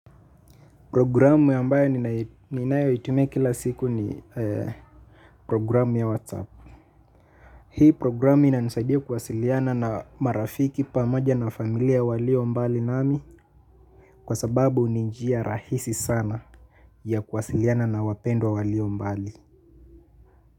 Programu ambayo ninayoitumia kila siku ni programu ya WhasApp. Hii programu inanisaidia kuwasiliana na marafiki pamoja na familia waliombali nami kwa sababu ni mjia rahisi sana ya kuwasiliana na wapendwa walio mbali.